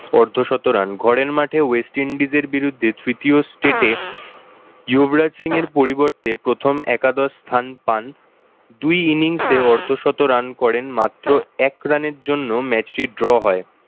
অর্ধশত রান। ঘরের মাঠে west indies এর বিরুদ্ধে তৃতীয় state এ ইয়ুভরাজ সিং এর পরিবর্তে প্রথম একাদশ স্থান পান দুই innings এ অর্ধশত run করেন মাত্র এক রান এর জন্য match টি draw হয়।